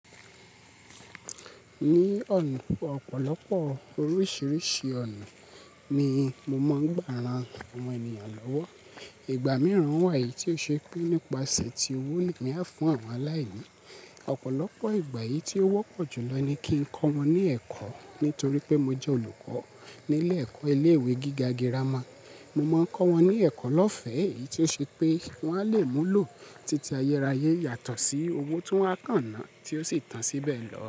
Ní ọ̀nà púpọ̀, ọ̀pọ̀lọpọ̀ oríṣìíríṣìí ọ̀nà ni mo máa ń gbà ran àwọn ènìyàn lọ́wọ́. Ìgbà mìíràn wà tí ó ṣe pé nípasẹ̀ tí owo ní á fún àwọn aláìní. Ọ̀pọ̀lọpọ̀ ìgbà yìí tí ó wọ́pọ̀ jùlọ ni kí n kọ́ wọn ní ẹ̀kọ́. Nítorí pé mo jẹ́ olùkọ́ nílé ẹ̀kọ́ ilé-ìwé gíga girama, mo máa ń kọ́ wọn ní ẹ̀kọ́ lọ́fẹ́ èyí tí ó ṣe pé wọ́n á le mú lò títí ayérayé yàtọ̀ sí owó tí wọ́n á kà náà tí ó sì tàn síbẹ̀ lọ.